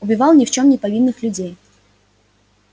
убивал ни в чём не повинных людей